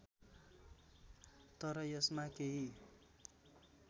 तर यसमा केही